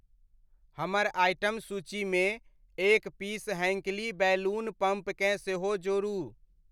हमर आइटम सूचीमे एक पीस हैंक्ली बैलून पंप केँ सेहो जोड़ू।